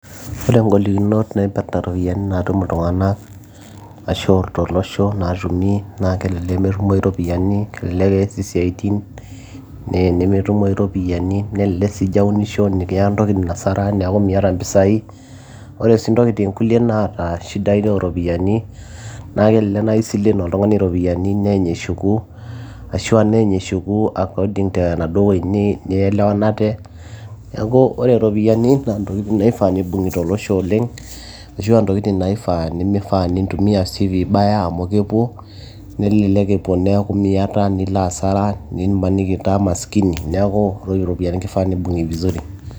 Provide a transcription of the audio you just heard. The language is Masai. Ore inkolikinot naipirta iropiyiani naatum iltung'anak ashuu tolosho naatumi naa kelelek metumoyu iropiyiani nemeas isiatin naa tenemetumoyu iropiyiani nelelek sii ijaunisho netum intokitin hasara neeku miata mpisai ore sii intokitin kulie naata shidai ooropiyiani naa kelelek naaji kisile oltung'ani iropiyiani neeny eshuku ashua neeny eshuku according enaaduo wueji nielewanate neeku ore iropiyiani naa intokitin naifaa nibung'i tolosho oleng ashuua intokitin naifaa nemeifaa nintumia sii vibaya amu kepuo nelelek epuo neeku miata nilo hasara nimaniki itaa maskini neeku ore iropiyiani keifaa nibung'i vizuri.